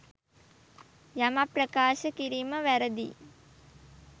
යමක් ප්‍රකාශ කිරීම වැරදියි.